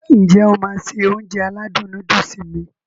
N jẹ́ o máá se Ounjẹ aládùn nóódùsì mi?